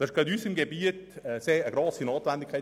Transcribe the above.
Das ist gerade in unserem Gebiet eine grosse Notwendigkeit.